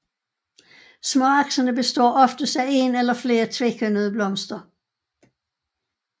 Småaksene består oftest af en eller flere tvekønnede blomster